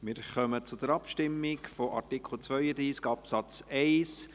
Wir kommen zur Abstimmung über Artikel 32 Absatz 1.